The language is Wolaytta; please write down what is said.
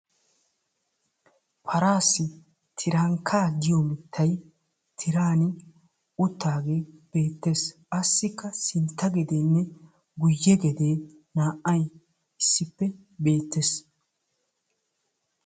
Paraassi tirankkaa giyo mittay tiraani uttaagee beettes. Assikka sintta gedeenne guyye gedee naa"ay issippe beettes.